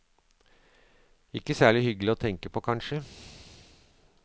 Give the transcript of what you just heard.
Ikke særlig hyggelig å tenke på, kanskje.